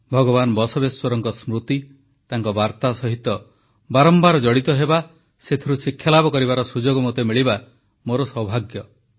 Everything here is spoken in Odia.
ଭଗବାନ ବସବେଶ୍ୱରଙ୍କ ସ୍ମୃତି ତାଙ୍କ ବାର୍ତ୍ତା ସହିତ ବାରମ୍ବାର ଜଡ଼ିତ ହେବା ସେଥିରୁ ଶିକ୍ଷାଲାଭ କରିବାର ସୁଯୋଗ ମୋତେ ମିଳିବା ମୋର ସୌଭାଗ୍ୟ